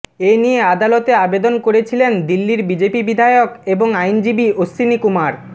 এ নিয়ে আদালতে আবেদন করেছিলেন দিল্লির বিজেপি বিধায়ক এবং আইনজীবী অশ্বিনীকুমার